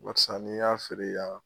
Walasa n'i y'a feere yan